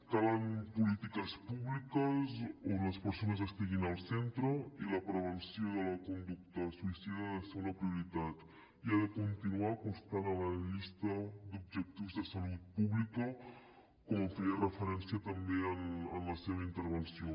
calen polítiques públiques on les persones estiguin al centre i la prevenció de la conducta suïcida ha de ser una prioritat i ha de continuar constant a la llista d’objectius de salut pública com feia referència també en la seva intervenció